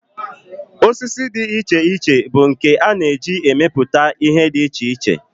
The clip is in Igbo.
Osisi dị iche iche bụ nke a na-esi emepụta ihe dị iche iche